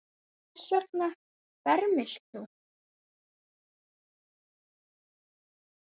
Hvers vegna fermist þú?